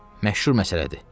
Məşhur məsələdir.